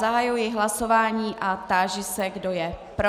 Zahajuji hlasování a táži se, kdo je pro.